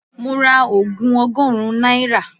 Mo ra ogun ọgọ́rùn-ún naira